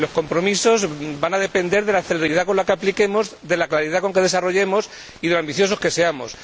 Los compromisos van a depender de la celeridad con la que apliquemos, de la claridad con la que desarrollemos y de lo ambiciosos que seamos.